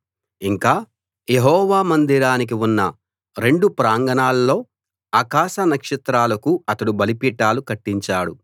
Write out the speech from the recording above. ఇంకా యెహోవా మందిరానికి ఉన్న రెండు ప్రాంగణాల్లో ఆకాశ నక్షత్రాలకు అతడు బలిపీఠాలు కట్టించాడు